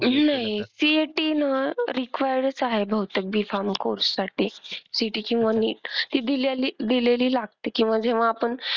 नाही CET ना required च आहे बहुतेक B farm course साठी. CET ची ना NEET ती दिल्याली दिलेली लागते किंवा जेव्हा आपण,